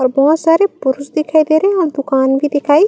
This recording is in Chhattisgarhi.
और बहुत सारे पुरुष दिखाई दे रहे है और दुकान भी दिखाई--